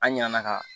An ɲina na ka